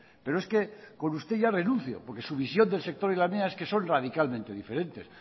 pero es que con usted ya renunció porque su visión del sector y la mía es que son radicalmente diferentes